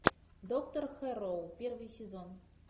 доктор хэрроу первый сезон